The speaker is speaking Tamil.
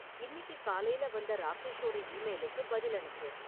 இன்னிக்கு காலையில வந்த ராகேஷோட ஈமெயிலுக்கு பதில் அனுப்பு